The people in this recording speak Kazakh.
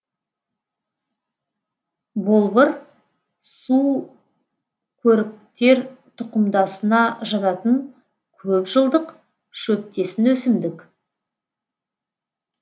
болбыр сукөріктер тұқымдасына жататын көп жылдық шөптесін өсімдік